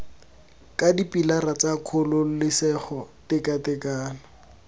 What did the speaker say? ka dipilara tsa kgololesego tekatekano